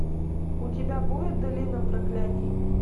у тебя будет долина проклятий